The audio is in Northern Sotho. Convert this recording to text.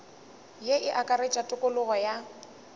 ye e akaretša tokologo ya